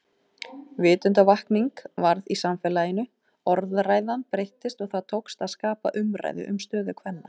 Vitundarvakning varð í samfélaginu, orðræðan breyttist og það tókst að skapa umræðu um stöðu kvenna.